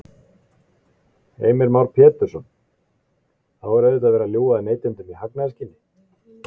Heimir Már Pétursson: Þá er auðvitað verið að ljúga að neytendum í hagnaðarskyni?